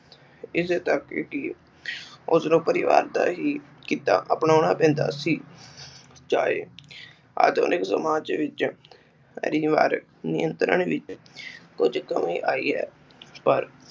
ਇਸੇ ਕਰਕੇ ਹੀ ਉਸਨੂੰ ਪਰਿਵਾਰ ਦਾ ਹੀ ਕੀਤਾ ਅਪਨੋਣਾ ਪੈਂਦਾ ਸੀ ਚਾਹੇ ਆਧੁਨਿਕ ਸਮਾਜ ਵਿਚ ਪਰਿਵਾਰ ਨਿਯੰਤਰਣ ਵਿਚ ਕੁਛਜ ਕਮੀ ਆਈ ਹੈ ਪਰ